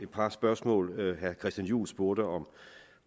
par spørgsmål herre christian juhl spurgte om